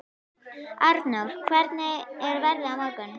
Arndór, hvernig er veðrið á morgun?